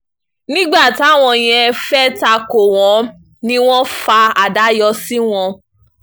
nígbà táwọn yẹn fẹ́ẹ́ ta kò wọ́n ni wọ́n fa àdá yọ sí wọn